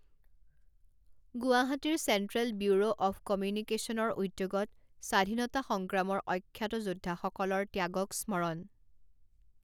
গুৱাহাটীৰ central bureau of কমিউিকেশ্বনৰ উদ্যোগত স্বাধীনতা সংগ্ৰামৰ অখ্যাত যোদ্ধাসকলৰ ত্যাগক স্মৰণ